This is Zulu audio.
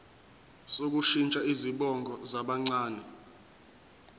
sokushintsha izibongo zabancane